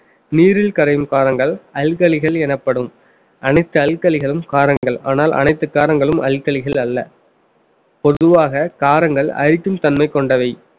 நீரில் கரையும் காரங்கள் அல்கலிகள் எனப்படும் அனைத்து அல்கலிகளும் காரங்கள் ஆனால் அனைத்து காரங்களும் அல்கலிகள் அல்ல பொதுவாக காரங்கள் அழிக்கும் தன்மை கொண்டவை